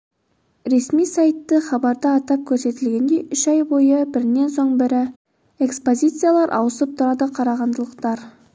ресми сайты хабарда атап көрсетілгендей үш ай бойы бірінен соң бірі экспозициялар ауысып тұрады қарағандылықтар